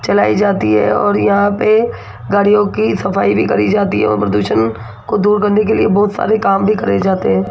चलाई जाती है और यहां पे गाडियों की सफाई भी करी जाती है एवं प्रदूषण को दूर करने के लिए बहुत सारे काम भी करे जाते हैं।